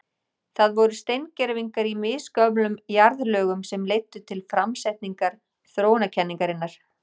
Það voru steingervingar í misgömlum jarðlögum sem leiddu til framsetningar þróunarkenningarinnar.